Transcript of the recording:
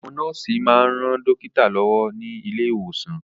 Àwọn nọ́ọ̀sì máa ń ran dókítà lọ́wọ́ ní ilé ìwòsàn